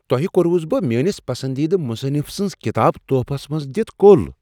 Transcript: تۄہہٕ كوروس بہٕ میٲنس پسندیدٕ مصنف سٕنٛزٕ کتابہٕ تحفس منٛز دتھ كو٘ل۔